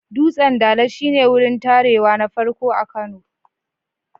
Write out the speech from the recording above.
Dutsen Dala shi ne wurin tarewa na farko a Kano.